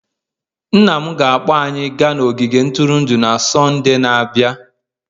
Nna m ga-akpọrọ anyị gaa ogige ntụrụndụ na Sọnde na-abịa.